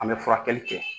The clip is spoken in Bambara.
An bɛ furakɛli kɛ